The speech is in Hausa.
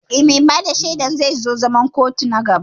Eh, mai bada shaidan zai zo zaman kotun na gaba